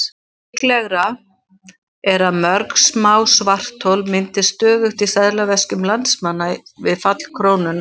Líklegra er að mörg smá svarthol myndist stöðugt í seðlaveskjum landsmanna við fall krónunnar.